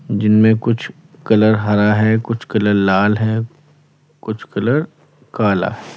जिनमें कुछ कलर हरा है कुछ कलर लाल है कुछ कलर काला।